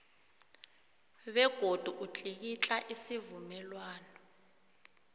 begodu utlikitla isivumelwano